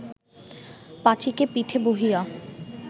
পাঁচীকে পিঠে বহিয়া